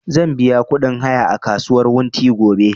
Zan biya ƙudin haya a kasuwar wunti gobe